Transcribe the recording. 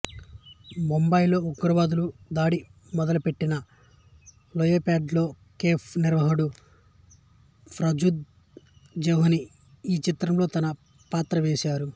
ముంబైలో ఉగ్రవాదులు దాడి మొదలుపెట్టిన లియోపోల్డ్ కేఫ్ నిర్వాహకుడు ఫార్జాద్ జేహని ఈ చిత్రంలో తన పాత్ర వేసారు